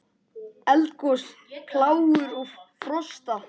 Eldgos, plágur og frosta